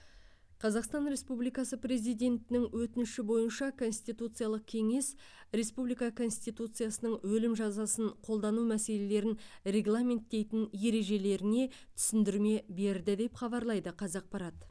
қазақстан республикасы президентінің өтініші бойынша конституциялық кеңес республика конституциясының өлім жазасын қолдану мәселелерін регламенттейтін ережелеріне түсіндірме берді деп хабарлайды қазақпарат